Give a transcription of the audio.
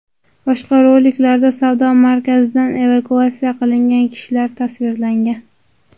Boshqa roliklarda savdo markazidan evakuatsiya qilingan kishilar tasvirlangan.